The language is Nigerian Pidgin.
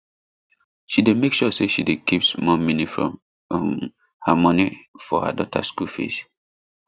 she dey make sure say she dey keep small mini from um her moni for her daughter school fees